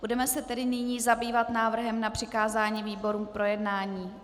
Budeme se tedy nyní zabývat návrhem na přikázání výborům k projednání.